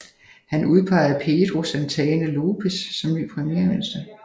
Han udpegede Pedro Santana Lopes som ny premierminister